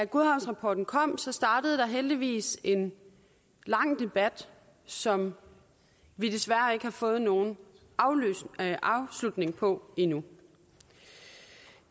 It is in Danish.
godhavnsrapporten kom startede der heldigvis en lang debat som vi desværre ikke har fået nogen afslutning på endnu